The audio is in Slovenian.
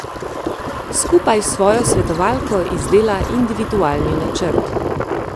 Skupaj s svojo svetovalko izdela individualni načrt.